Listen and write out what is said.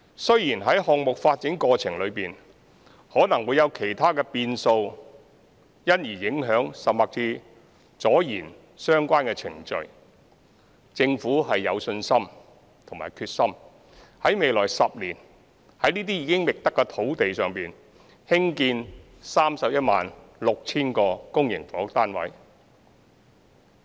雖然在項目發展過程中可能會有其他變數，因而影響甚或拖延相關程序，政府有信心及決心在未來10年於這些已覓得的土地上興建 316,000 個公營房屋單位。